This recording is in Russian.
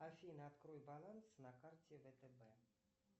афина открой баланс на карте втб